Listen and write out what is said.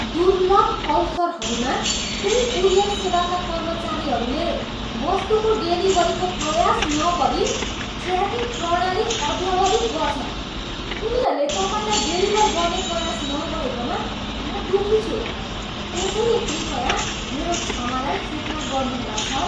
दुर्लभ अवसरहरूमा, केही कुरियर सेवाका कर्मचारीहरूले वस्तुको डेलिभरीको प्रयास नगरी ट्र्याकिङ प्रणाली अद्यावधिक गर्छन्। उनीहरूले तपाईँलाई डेलिभर गर्ने प्रयास नगरेकामा म दुःखी छु। त्यसैले कृपया मेरो क्षमालाई स्वीकार गर्नुहोला, सर।